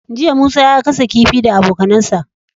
Jiya musa ya gasa kifi shi da abokAnan sa